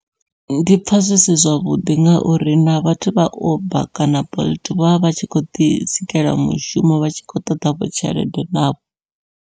Ndi pfha zwi si zwavhuḓi ngauri na vhathu vha uber kana bolt vha vha vhatshi kho ḓi sikela mushumo vha tshi khou ṱoḓa vho tshelede navho.